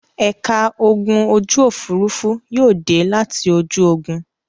Ẹ̀ka ogun ojú-òfurufú yóò dé láti ojú ogun.